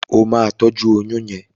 O ma tọjú oyún yén!